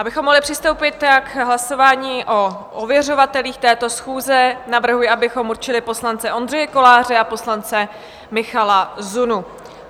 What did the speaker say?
Abychom mohli přistoupit k hlasování o ověřovatelích této schůze, navrhuji, abychom určili poslance Ondřeje Koláře a poslance Michala Zunu.